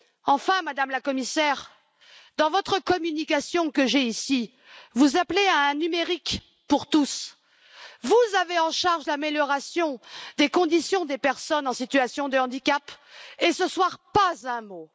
Enfin, Madame la Commissaire, dans votre communication, vous appelez à un numérique pour tous. Vous avez en charge l'amélioration des conditions des personnes en situation de handicap et ce soir, pas un mot!